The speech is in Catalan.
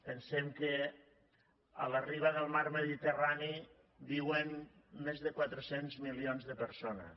pensem que a la riba del mar mediterrani viuen més de quatre cents milions de persones